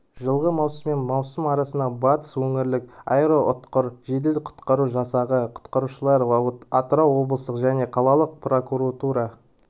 жылғы маусыммен маусым аралығында батыс өңірлік аэроұтқыр жедел-құтқару жасағы құтқарушылары атырау облыстық және қалалық прокуратура